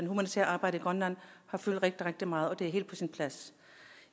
humanitære arbejde i grønland har fyldt rigtig rigtig meget og det er helt på sin plads